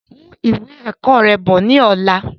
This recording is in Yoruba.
Mú ìwé ẹ̀kọ́ rẹ bọ̀ ni ọ̀la!